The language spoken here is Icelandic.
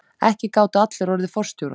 Ekki gátu allir orðið forstjórar.